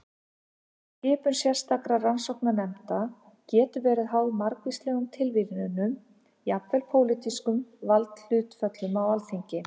Skipun sérstakra rannsóknarnefnda getur verið háð margvíslegum tilviljunum og jafnvel pólitískum valdahlutföllum á þingi.